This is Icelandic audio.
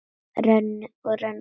Renni og renni.